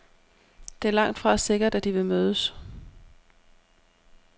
Det er langtfra sikkert, at de vil mødes.